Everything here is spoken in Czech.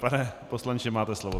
Pane poslanče, máte slovo.